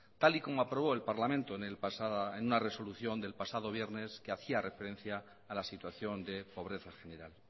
tal y como aprobó el parlamento en una resolución del pasado viernes que hacía referencia a la situación de pobreza general